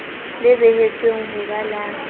le behetsweng ho ba la